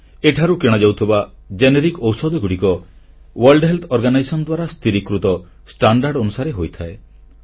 ଏଠାରୁ କିଣାଯାଉଥିବା ଜେନେରିକ ଔଷଧଗୁଡ଼ିକ ବିଶ୍ବ ସ୍ୱାସ୍ଥ୍ୟ ସଂଗଠନ ଦ୍ୱାରା ସ୍ଥିରୀକୃତ ମାନକ ଅନୁସାରେ ହୋଇଥାଏ